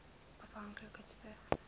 afhanklikes vigs